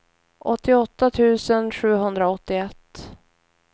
åttioåtta tusen sjuhundraåttioett